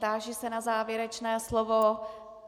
Táži se na závěrečné slovo.